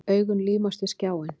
Augun límast við skjáinn.